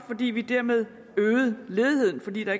fordi vi dermed øgede ledigheden fordi der